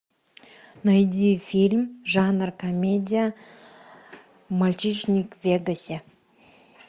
найди фильм жанр комедия мальчишник в вегасе